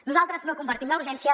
nosaltres no compartim la urgència